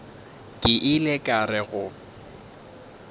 ke ile ka re go